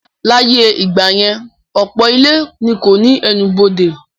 Láyé ìgbà yẹn, ọ̀pọ̀ ilé ni kò ní ẹnubodè